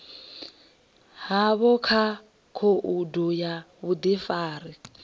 havho kha khoudu ya vhudifari